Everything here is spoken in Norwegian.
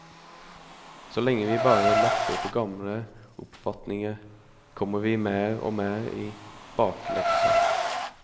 Så lenge vi bare lapper på gamle oppfatninger, kommer vi mer og mer i bakleksa.